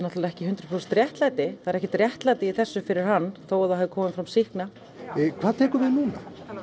ekki hundrað prósent réttlæti það er ekkert réttlæti í þessu fyrir hann þó það hafi komið fram sýkna hvað tekur við núna